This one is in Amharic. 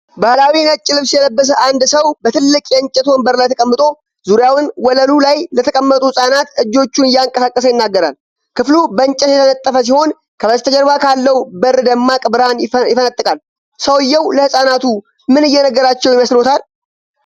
ባህላዊ ነጭ ልብስ የለበሰ አንድ ሰው በትልቅ የእንጨት ወንበር ላይ ተቀምጦ፣ ዙሪያውን ወለሉ ላይ ለተቀመጡ ህፃናት እጆቹን እያንቀሳቀሰ ይናገራል። ክፍሉ በእንጨት የተነጠፈ ሲሆን ከበስተጀርባ ካለው በር ደማቅ ብርሃን ይፈነጥቃል። ሰውዬው ለህፃናቱ ምን እየነገራቸው ይመስልዎታል?